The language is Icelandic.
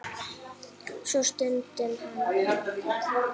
Svo stundi hann hátt.